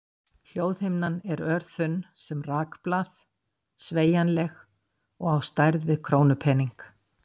Hljóðhimnan er örþunn sem rakblað, sveigjanleg og á stærð við krónupening.